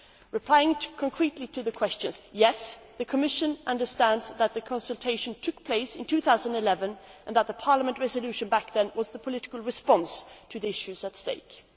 Responding specifically to the question yes, the Commission understands that a consultation took place in 2011 and that Parliament's resolution back then was the political response to the issues in question.